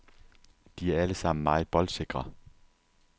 De er alle sammen meget boldsikre.